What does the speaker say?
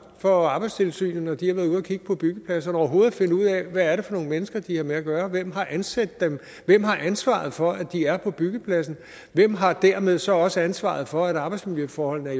når arbejdstilsynet har været ude at kigge på byggepladserne med overhovedet at finde ud af hvad det er for nogle mennesker de har med at gøre hvem har ansat dem hvem har ansvaret for at de er på byggepladsen og hvem har dermed så også ansvaret for at arbejdsmiljøforholdene er